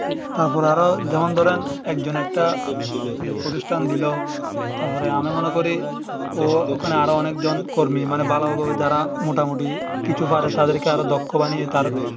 তারপরে তারপরে আরো যেমন ধরেন একজন একটা প্রতিষ্ঠান দিলো তারপর আমি মনে করি ওখানে আর একজনকর্মী মানে ভালোভাবে যারা মোটামুটি কিছু পারে তাদেরকে আরো দক্ষ বানিয়ে তার